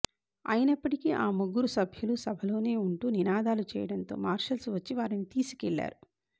అయినప్పటీ ఆ ముగ్గురు సభ్యులు సభలోనే ఉంటూ నినాదాలు చేయడంతో మార్షల్స్ వచ్చి వారిని తీసుకెళ్లారు